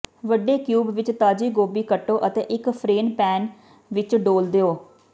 ਵੱਡੇ ਕਿਊਬ ਵਿੱਚ ਤਾਜ਼ੀ ਗੋਭੀ ਕੱਟੋ ਅਤੇ ਇੱਕ ਫ਼ਰੇਨ ਪੈਨ ਵਿੱਚ ਡੋਲ੍ਹ ਦਿਓ